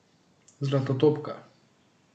Zlatotopka.